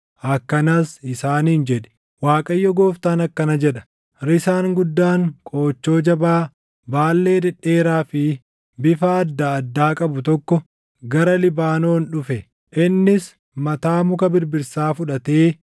Akkanas isaaniin jedhi; ‘ Waaqayyo Gooftaan akkana jedha: Risaan guddaan qoochoo jabaa, baallee dhedheeraa fi bifa adda addaa qabu tokko gara Libaanoon dhufe. Innis mataa muka birbirsaa fudhatee